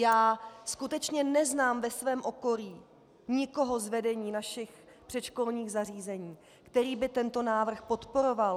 Já skutečně neznám ve svém okolí nikoho z vedení našich předškolních zařízení, který by tento návrh podporoval.